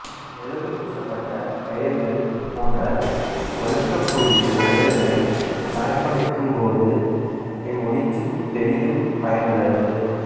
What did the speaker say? மெழுகு பூசப்பட்ட கயிறுகள் போன்ற வழுக்கக்கூடிய கயிறுகளைப் பயன்படுத்தும்போது இம்முடிச்சுப் பெரிதும் பயனுள்ளது